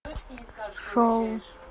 шоу